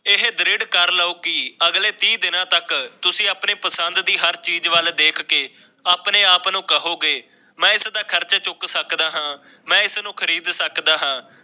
ਇਹ ਦ੍ਰਿਡ਼ ਕਰ ਲਓ ਕਿ ਅਗਲੇ ਤੀਹ ਦਿਨਾਂ ਤੱਕ ਤੁਸੀਂ ਆਪਣੀ ਪਸੰਦ ਦੀ ਹਰ ਚੀਜ਼ ਵੱਲ ਦੇਖ ਕੇ ਆਪਣੇ ਆਪ ਨੂੰ ਕਹੋਗੇ ਮੈਂ ਇਸਦਾ ਖਰਚਾ ਚੁੱਕ ਸਕਦਾ ਹਾਂ ਮੈਂ ਇਸ ਨੂੰ ਖ਼ਰੀਦ ਸਕਦਾ ਹਾਂ।